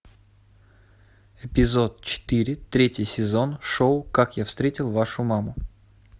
эпизод четыре третий сезон шоу как я встретил вашу маму